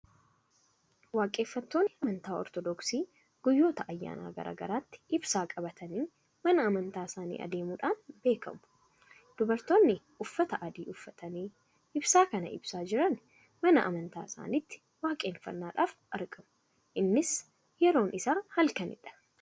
Waaqeffattoonni amantaa Ortoodoksii guyyoota ayyaana garaa garaatti ibsaa qabatanii mana amantaa isaanii adeemudhaan beekamu. Dubartoonni uffata adii uffatanii, ibsaa kana ibsaa jirani mana amantaa isaaniitti waaqeffannaaf argamu. Innis yeroon isaa halkanidha.